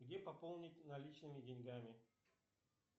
где пополнить наличными деньгами